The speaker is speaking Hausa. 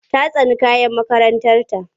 Ta tsani kayan makarantarta.